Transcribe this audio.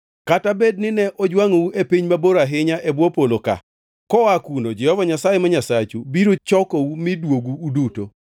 Kata bed nine ojwangʼu e piny mabor ahinya e bwo polo ka, koa kuno Jehova Nyasaye ma Nyasachu biro chokou mi duogu uduto.